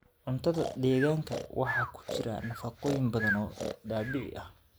Cuntada deegaanka waxaa ku jira nafaqooyin badan oo dabiici ah.